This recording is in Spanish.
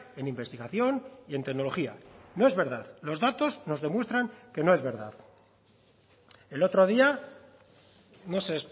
en investigación y en tecnología no es verdad los datos nos demuestran que no es verdad el otro día no sé